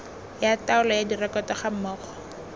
ya taolo ya direkoto gammogo